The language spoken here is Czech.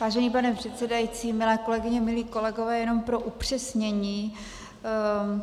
Vážený pane předsedající, milé kolegyně, milí kolegové, jen pro upřesnění.